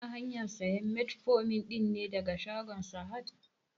Kana hanyan sayan metformin ɗin ne daga shagon sahad?